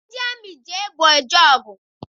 Ndị amị ji egbe eje ọgụ.